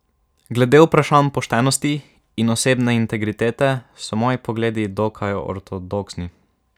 Glede vprašanj poštenosti in osebne integritete so moji pogledi dokaj ortodoksni.